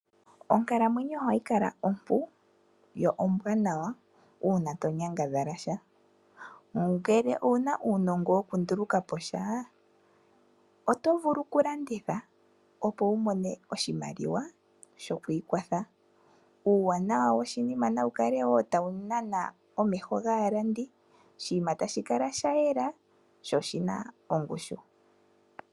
Onkalamwenyo ohayi kala ompu yo ombwanawa uuna to nyangadhalasha. Ngele owuna uunongo wokunduluka po sha otovulu kulanditha opo wumone oshimaliwa shokwiikwatha. Uuwanawa woshinima nawu kale tawu nana omeho gaalandi oshinima tashi kala shayela sho oshina ongushu.